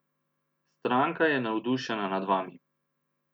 Stranka je navdušena nad vami.